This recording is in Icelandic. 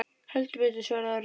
Heldur betur svaraði Orri.